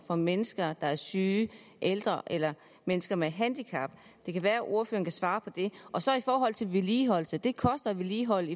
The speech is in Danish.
for mennesker der er syge ældre eller mennesker med handicap det kan være at ordføreren kan svare på det og så i forhold til vedligeholdelse det koster at vedligeholde